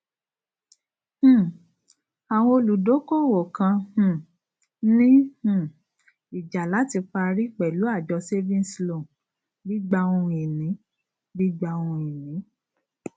um àwọn olùdókòwò kan um ní um ìjà láti parí pẹlú àjọ savings loans gbígba ohun ìní gbígba ohun ìní